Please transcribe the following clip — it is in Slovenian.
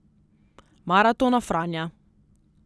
Maratona Franja.